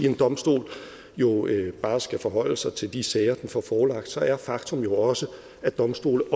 en domstol bare skal forholde sig til de sager som den får forelagt så er faktum jo også at domstole